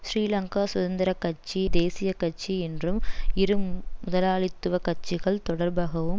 ஸ்ரீலங்கா சுதந்திர கட்சி தேசிய கட்சி என்றும் இரு முதலாளித்துவ கட்சிகள் தொடர்பாகவும்